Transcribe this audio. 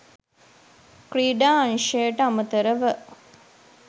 ක්‍රීඩා අංශයට අමතරව